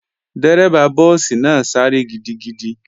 Dérẹ́bà búùsì náà sáré gidigidi